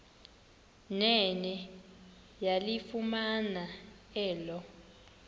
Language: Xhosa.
nene yalifumana elo